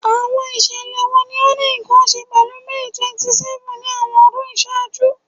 Awọn iṣẹlẹ wo ni o ni nkan ṣe pẹlu May 27th ni awọn ọdun iṣaaju?